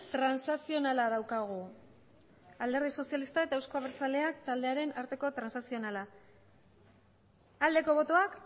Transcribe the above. transakzionala daukagu alderdi sozialista eta eusko abertzaleak taldearen arteko transakzionala aldeko botoak